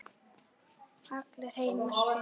Allir heimta spil.